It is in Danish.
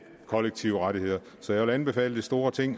kollektive rettigheder så jeg vil anbefale det store ting